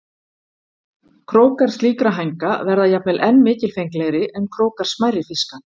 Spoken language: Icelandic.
Krókar slíkra hænga verða jafnvel enn mikilfenglegri en krókar smærri fiska.